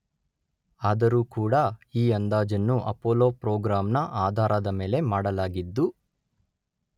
ಆದರೂ ಕೂಡ ಈ ಅಂದಾಜನ್ನು ಅಪೋಲೋ ಪ್ರೋಗ್ರಾಂ ನ ಆಧಾರದ ಮೇಲೆ ಮಾಡಲಾಗಿದ್ದು